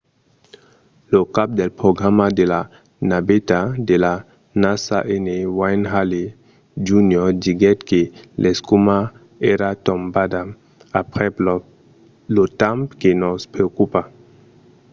lo cap del programa de la naveta de la nasa n. wayne hale jr. diguèt que l'escuma èra tombada aprèp lo temps que nos preocupa.